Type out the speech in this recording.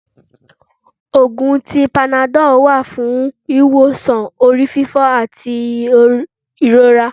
Òògùn tí Panadol wá fún wíwósàn orífífó ati irora.